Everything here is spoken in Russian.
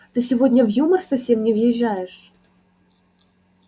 ты сегодня в юмор совсем не въезжаешь